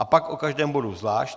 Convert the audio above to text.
A pak o každém bodu zvlášť.